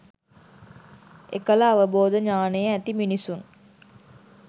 එකල අවබෝධ ඥානය ඇති මිනිසුන්